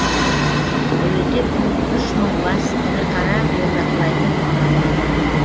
әуелде бұл үш мың бас ірі қара бордақылайтын алаң еді